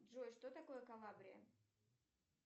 джой что такое калабрия